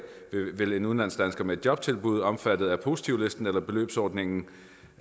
vil en udlandsdansker med et jobtilbud omfattet af positivlisten eller beløbsordningen